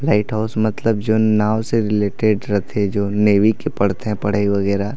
Light house मतलब जो नाव से रिलेटेड रखे जो नेवी के पढ़ थे पढ़ई वगेरा।